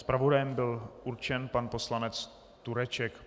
Zpravodajem byl určen pan poslanec Tureček.